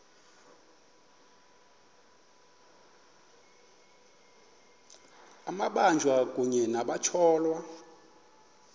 amabanjwa kunye nabatyholwa